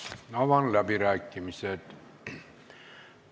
Avan läbirääkimised.